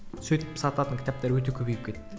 сөйтіп сататын кітаптар өте көбейіп кетті